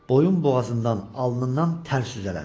Boyun boğazından alnından tər süzələnir.